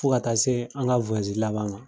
Fo ka taa see an ŋa laban na